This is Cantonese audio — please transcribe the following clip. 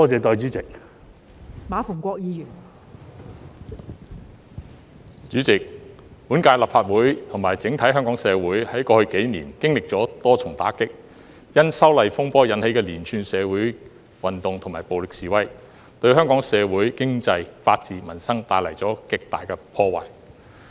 代理主席，本屆立法會和整體香港社會，在過去幾年經歷了多重打擊，因修例風波引起的連串社會運動及暴力示威，對香港社會、經濟、法治、民生帶來極大破壞。